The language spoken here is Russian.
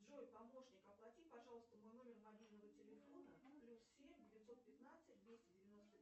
джой помощник оплати пожалуйста мой номер мобильного телефона плюс семь девятьсот пятнадцать двести девяносто